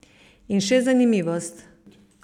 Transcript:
In še zanimivost.